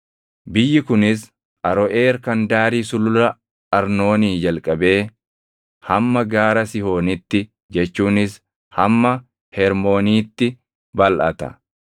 Biyyi kunis Aroʼeer kan daarii Sulula Arnoonii jalqabee hamma Gaara Sihoonitti jechuunis hamma Hermooniitti balʼata;